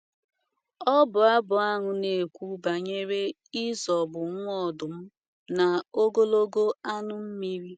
Ọbụ abụ ahụ na - ekwu banyere ịzọgbu “ nwa ọdụm na ogologo anụ mmiri. ”